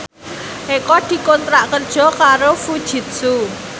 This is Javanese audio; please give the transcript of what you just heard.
Eko dikontrak kerja karo Fujitsu